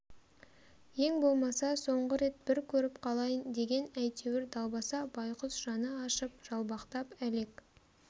ең болмаса соңғы рет бір көріп қалайын деген әйтеуір далбаса байқұс жаны ашып жалбақтап әлек